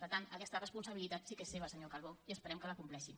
per tant aquesta responsabilitat sí que és seva senyor calbó i esperem que la compleixi